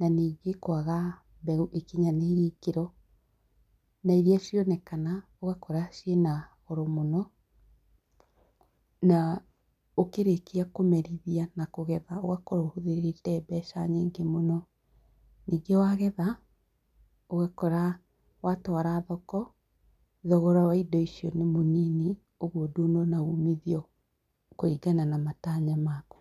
na ningī kwaga mbeū ikinyanīirie īkīro na iria cionekana ūgakora ciīna goro mūno, na ūkīrīkia kūmerithia na kūgetha ūgakorwo ūhūthīrīte mbeca nyingī mūno, ningī wagetha ūgakora watūara thoko thogora wa indo icio nī mūnini ūguo ndūnona umithio kūringana na matanya maku.